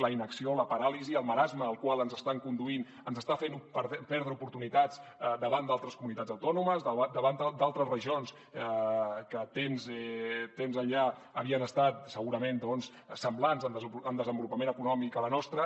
la inacció la paràlisi el marasme al qual ens estan conduint ens està fent perdre oportunitats davant d’altres comunitats autònomes davant d’altres regions que temps enllà havien estat segurament semblants en desenvolupament econòmic a la nostra